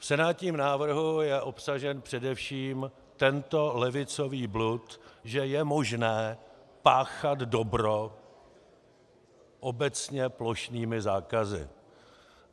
V senátním návrhu je obsažen především tento levicový blud, že je možné páchat dobro obecně plošnými zákazy.